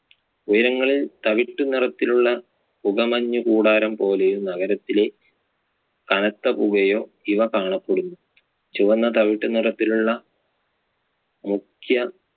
ഉയരങ്ങളിൽ തവിട്ട് നിറത്തിലുള്ള പുകമഞ്ഞു കൂടാരം പോലെയും നഗരത്തിലെ കനത്ത പുകയോ ഇവ കാണപ്പെടുന്നു. ചുവന്ന തവിട്ടു നിറത്തിലുള്ള മുഖ്യ